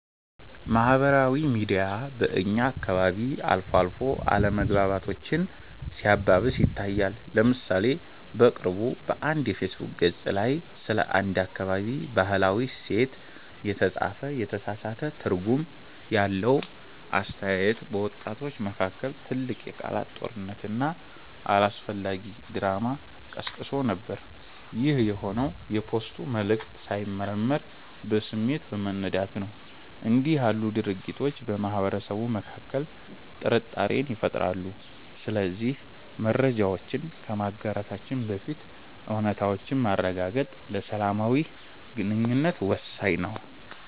ማህበራዊ ሚዲያ በእኛ አካባቢ አልፎ አልፎ አለመግባባቶችን ሲያባብስ ይታያል። ለምሳሌ በቅርቡ በአንድ የፌስቡክ ገፅ ላይ ስለ አንድ አካባቢ "ባህላዊ እሴት" የተጻፈ የተሳሳተ ትርጉም ያለው አስተያየት፣ በወጣቶች መካከል ትልቅ የቃላት ጦርነትና አላስፈላጊ ድራማ ቀስቅሶ ነበር። ይህ የሆነው የፖስቱ መልዕክት ሳይመረመር በስሜት በመነዳት ነው። እንዲህ ያሉ ድርጊቶች በማህበረሰቡ መካከል ጥርጣሬን ይፈጥራሉ። ስለዚህ መረጃዎችን ከማጋራታችን በፊት እውነታነታቸውን ማረጋገጥ ለሰላማዊ ግንኙነት ወሳኝ ነው።